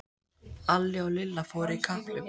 Alli og Lilla fóru í kapphlaup.